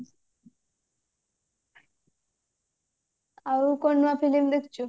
ଆଉ କଣ ନୂଆ film ଦେଖିଛୁ